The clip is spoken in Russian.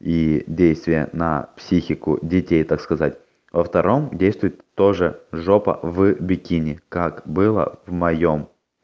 и действие на психику детей так сказать во втором действует тоже жопа в бикини как было в моём